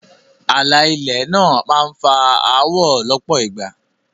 Ààlà ilẹ̀ náà máá ń fa áwọ̀ lọ́pọ̀ ìgbà